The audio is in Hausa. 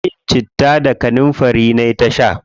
Shayin citta da kanunfari nayi ta sha.